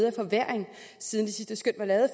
en forværring siden det sidste skøn var lavet